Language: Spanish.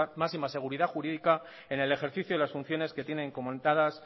máxima seguridad jurídica en el ejercicio de las funciones que tienen comentadas